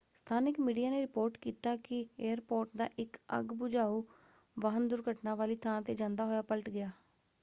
ਸਥਾਨਕ ਮੀਡੀਆ ਨੇ ਰਿਪੋਰਟ ਕੀਤਾ ਕਿ ਏਅਰਪੋਰਟ ਦਾ ਇੱਕ ਅੱਗ ਬੁਝਾਊ ਵਾਹਨ ਦੁਰਘਟਨਾ ਵਾਲੀ ਥਾਂ ‘ਤੇ ਜਾਂਦਾ ਹੋਇਆ ਪਲਟ ਗਿਆ।